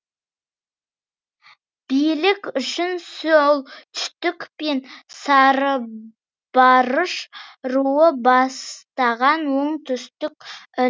билік үшін солтүстік пен сарыбарыш руы бастаған оңтүстік